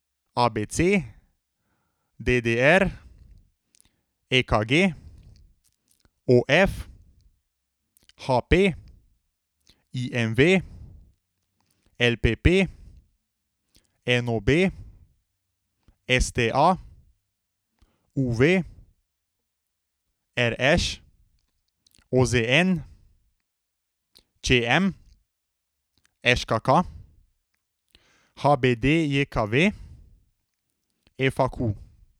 A B C; D D R; E K G; O F; H P; I M V; L P P; N O B; S T A; U V; R Š; O Z N; Č M; Ž K K; H B D J K V; F A Q.